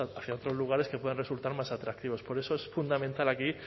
hacia otros lugares que puedan resultar más atractivos por eso es fundamental aquí